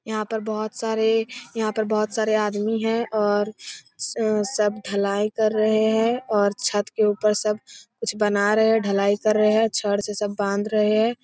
यहाँ पर बहुत सारे यहाँ पर बहुत सारे आदमी है और सब ढलाई कर रहे हैं और छत के ऊपर सब कुछ बना रहे हैं ढलाई कर रहे हैं छड़ से सब बांध रहे हैं।